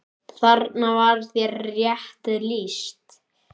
Þarna var þér rétt lýst.